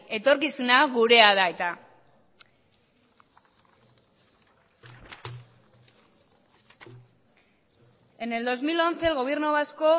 etorkizuna gurea da eta en el dos mil once el gobierno vasco